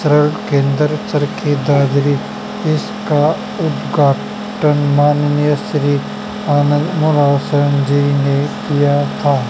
क्रय केंद्र चरखी दादरी इसका उद्घाटन माननीय श्री ने किया था।